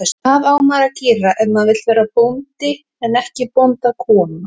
Hvað á maður að gera ef maður vill verða bóndi en ekki bóndakona?